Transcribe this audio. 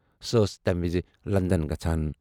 سۄ ٲس تَمہِ وِزِ لندن گژھان۔